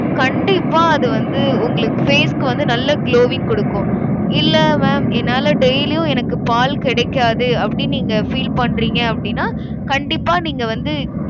கண்டிப்பா அது வந்து, உங்களுக்கு face க்கு வந்து நல்ல glowing கொடுக்கும். இல்ல mam என்னால daily யும் எனக்கு பால் கிடைக்காது, அப்படின்னு நீங்க feel பண்றீங்க அப்படின்னா கண்டிப்பா நீங்க வந்து,